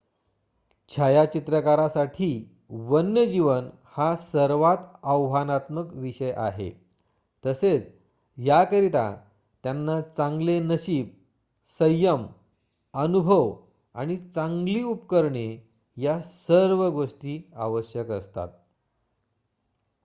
छायाचित्रकारासाठी वन्यजीवन हा सर्वात आव्हानात्मक विषय आहे तसेच याकरिता त्यांना चांगले नशीब संयम अनुभव आणि चांगली उपकरणे या सर्व गोष्टी आवश्यक असतात